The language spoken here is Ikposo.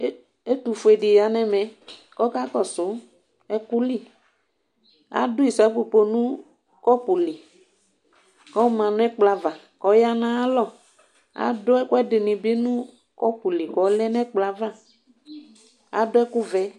Ɛtʋ ƒue ɖɩ ƴa nʋ ɛmɛ, ƙɔƙaƙɔsʋ ɛƙʋliAɖʋ ɩsapopo nʋ ƙɔpʋ li ƙɔ ma nʋ ɛƙplɔ ava ,ƙɔ ƴa nʋ aƴa lɔ; aɖʋ ɛƙʋɛɖɩ nɩ bɩ nʋ ƙɔpʋ li ƙɔ lɛ nʋ ɛƙplɔ avaAɖʋ ɛƙʋ vɛ